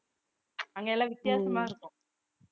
அங்க எல்லாம் வித்தியாசமா இருக்கும்